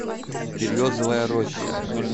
березовая роща